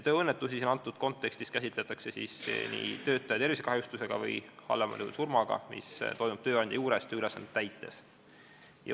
Tööõnnetusena käsitletakse antud kontekstis töötaja tervisekahjustust või halvemal juhul surma, mis saadi või mis toimus tööandja juures tööülesannet täites.